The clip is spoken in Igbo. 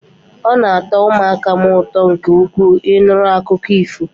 Ọ na atọ ụmụaka m ụtọ nke ukwuu, Ị nụrụ akụkọ ifo